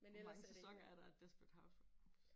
Hvor mange sæsoner er der af desperate housewives?